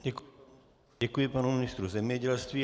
Děkuji panu ministru zemědělství.